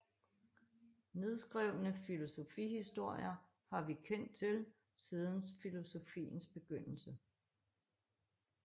Nedskrevne filosofihistorier har vi kendt til siden filosofiens begyndelse